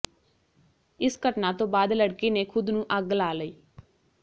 ਇਸ ਘਟਨਾ ਤੋਂ ਬਾਅਦ ਲੜਕੀ ਨੇ ਖੁਦ ਨੂੰ ਅੱਗ ਲਾ ਲਈ